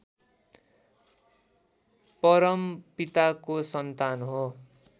परमपिताको सन्तान हो